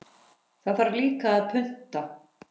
Það þarf líka að punta.